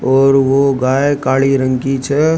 और वो गाये काली रंग की छ।